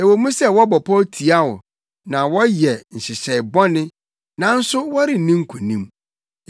Ɛwɔ mu sɛ wɔbɔ pɔw tia wo na wɔyɛ nhyehyɛe bɔne, nanso wɔrenni nkonim;